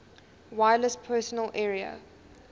wireless personal area